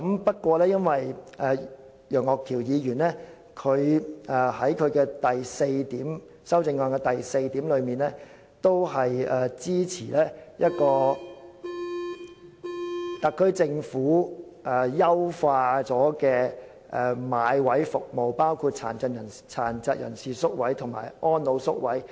不過，楊岳橋議員在修正案第四點提到支持特區政府優化買位服務，包括殘疾人士院舍和安老院舍宿位。